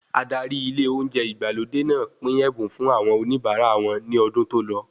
Adárí ilé olóúnjẹ ìgbàlódé náà pín ẹ̀bùn fún àwọn oníbara wọn ní ọdún tòlọ